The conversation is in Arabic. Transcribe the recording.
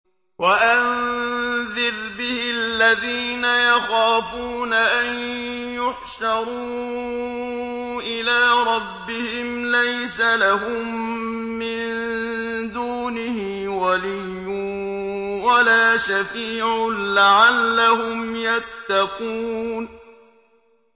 وَأَنذِرْ بِهِ الَّذِينَ يَخَافُونَ أَن يُحْشَرُوا إِلَىٰ رَبِّهِمْ ۙ لَيْسَ لَهُم مِّن دُونِهِ وَلِيٌّ وَلَا شَفِيعٌ لَّعَلَّهُمْ يَتَّقُونَ